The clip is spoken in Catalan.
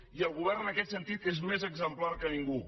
i el govern en aquest sentit és més exemplar que ningú